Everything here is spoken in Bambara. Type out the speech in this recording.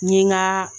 N ye n ka